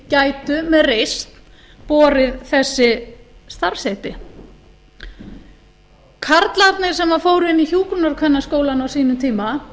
gætu með reisn borið þessi starfsheiti karlarnir sem fóru inn í hjúkrunarkvennaskólann á sínum tíma